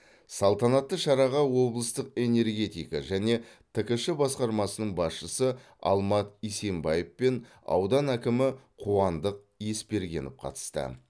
салтанатты шараға облыстық энергетика және ткш басқармасының басшысы алмат исенбаев пен аудан әкімі қуандық еспергенов қатысты